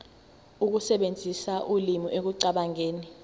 ukusebenzisa ulimi ekucabangeni